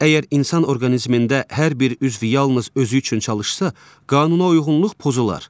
Əgər insan orqanizmində hər bir üzvü yalnız özü üçün çalışsa, qanunauyğunluq pozular.